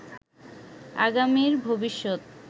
আগামীর ভবিষ্যত